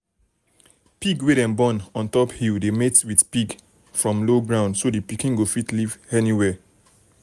pig wey dem born um ontop hill dey mate with pig from low ground so the pikin go fit live anywhere.